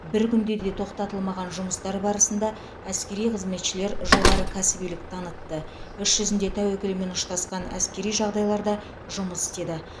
бір күнде де тоқтатылмаған жұмыстар барысында әскери қызметшілер жоғары кәсібилік танытты іс жүзінде тәуекелмен ұштасқан әскери жағдайларда жұмыс істеді